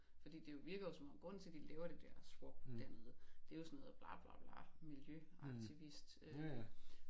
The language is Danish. Fordi det jo virker jo som om grunden til de laver det der swap dernede det jo sådan noget bla bla bla miljø aktivist øh